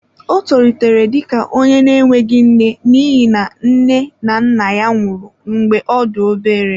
Ọ tolitere dị ka onye na-enweghị nne n'ihi na nne na nna ya nwụrụ mgbe ọ dị obere.